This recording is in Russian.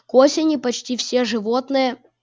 к осени почти все животные